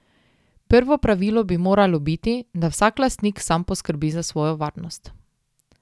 Prvo pravilo bi moralo biti, da vsak lastnik sam poskrbi za svojo varnost.